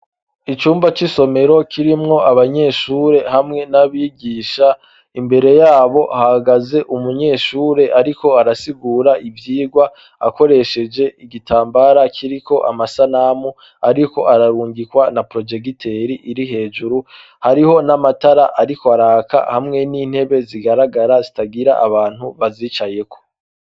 Icumba cy'isomero kirimwo abanyeshure hamwe n'abigisha imbere yabo hagaze umunyeshure ariko arasigura ibyigwa akoresheje igitambara kiriko amasanamu ariko ararungikwa na projegiteri iri hejuru hariho n'amatara ariko araka hamwe n'intebe zigaragara zitagira abantu azicayeko.